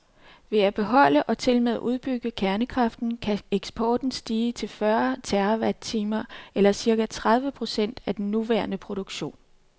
Ved at beholde og tilmed udbygge kernekraften, kan eksporten stige til fyrre terrawatttimer eller cirka tredive procent af den nuværende produktion.